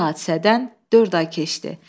Bu hadisədən dörd ay keçdi.